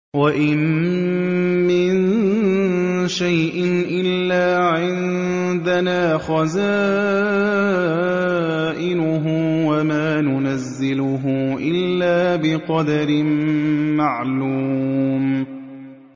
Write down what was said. وَإِن مِّن شَيْءٍ إِلَّا عِندَنَا خَزَائِنُهُ وَمَا نُنَزِّلُهُ إِلَّا بِقَدَرٍ مَّعْلُومٍ